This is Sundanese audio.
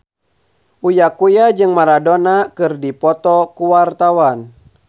Uya Kuya jeung Maradona keur dipoto ku wartawan